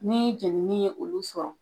Ni jeni ni ye olu sɔrɔ.